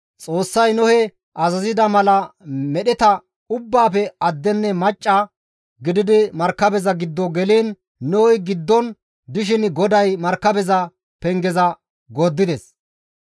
Xoossay Nohe azazida mala medheta ubbaafe addenne macca gididi markabeza giddo geliin Nohey giddon dishin GODAY markabeza penge gordides.